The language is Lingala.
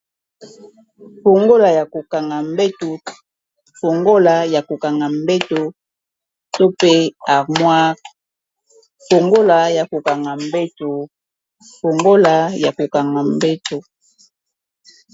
Fongola ya kokanga mbeto to pe harmoire.